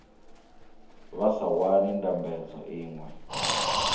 vha sa wani ndambedzo iṅwe